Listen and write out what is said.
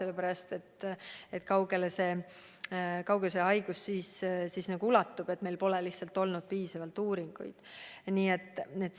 Aga kui kaua, selle kohta pole olnud piisavalt uuringuid.